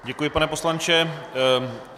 Děkuji, pane poslanče.